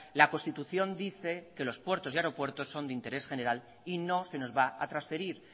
la constitución dice que los puertos y aeropuertos son de interés general y no se nos va a transferir